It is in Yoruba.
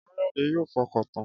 Káyọ̀dé yóò fọkàntan